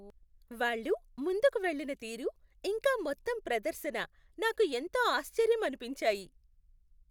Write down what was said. వాళ్ళు ముందుకు వెళ్ళిన తీరు, ఇంకా మొత్తం ప్రదర్శన నాకు ఎంతో ఆశ్చర్యం అనిపించాయి.